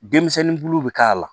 Denmisɛnnin bulu bɛ k'a la